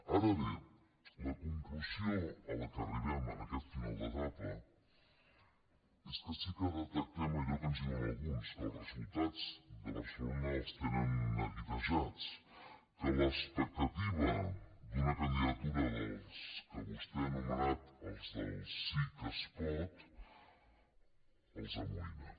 ara bé la conclusió a què arribem en aquest final d’etapa és que sí que detectem allò que ens diuen alguns que els resultats de barcelona els tenen neguitejats que l’expectativa d’una candidatura dels que vostè ha anomenat els del sí que es pot els amoïna